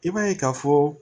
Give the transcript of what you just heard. I b'a ye k'a fɔ